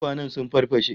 Tukwanen sun farfashe